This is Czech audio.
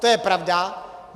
To je pravda.